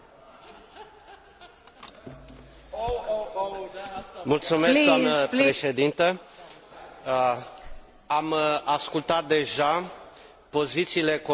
Am ascultat deja pozițiile colegilor mei care au subliniat importanța cărbunelui pentru securitatea energetică a economiei europene.